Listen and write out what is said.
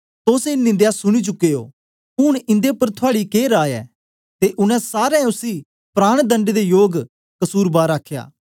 तोस ए निंदया सुनी चुके ओ हुन इंदे उपर थुआड़ी के राय ऐ ते उनै सारें उसी प्राणदण्ड दे योग कसुरबार आखया